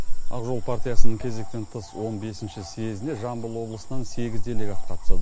ақ жол партиясының кезектен тыс он бесінші съездіне жамбыл облысынан сегіз делегат қатысады